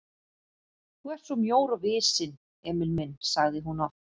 Þú ert svo mjór og visinn, Emil minn sagði hún oft.